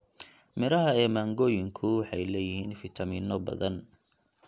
Midhaha ee mangooyinku waxay leeyihiin fiitamiinno badan.